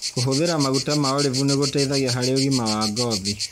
Kũhũthira maguta ma olive nĩgũteithagia harĩ ũgima wa ngothi.